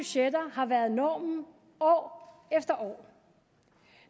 har været normen år efter år